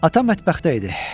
Ata mətbəxdə idi.